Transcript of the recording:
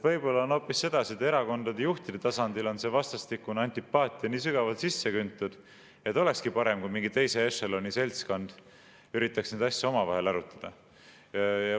Võib-olla on hoopis sedasi, et erakondade juhtide tasandil on vastastikune antipaatia nii sügavalt sisse küntud, et oleks parem, kui mingi teise ešeloni seltskond üritaks neid asju omavahel arutada.